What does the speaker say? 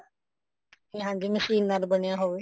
ਹਾਂਜੀ ਮਸ਼ੀਨ ਨਾਲ ਬਣਿਆ ਹੋਵੇ